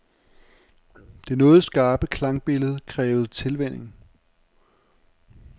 Det noget skarpe klangbillede krævede tilvænning.